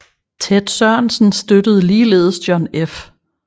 Ted Sorensen støttede ligeledes John F